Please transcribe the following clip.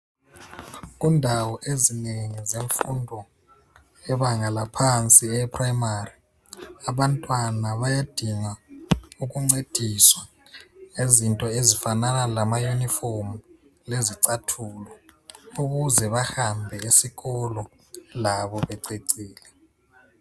Kundawo ezinengi zemfundo yebanga laphansi e-Primary. Abantwana bayadinga ukuncediswa ngezinto ezifanana lamayunifomu lezicathulo ukuze bahambe esikolo labo bececile.